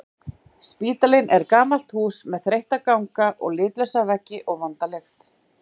Spítalinn er gamalt hús með þreytta ganga og litlausa veggi og vonda lykt.